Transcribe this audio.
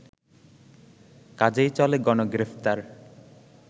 কাজেই চলে গণগ্রেফতার